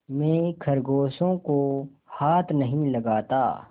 मैं खरगोशों को हाथ नहीं लगाता